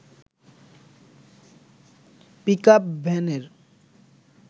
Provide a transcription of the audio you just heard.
pickup ভ্যানের